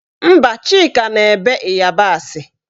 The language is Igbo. Mba, Chika na-ebe ịyabasị